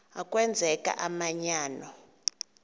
a kwenzeka umanyano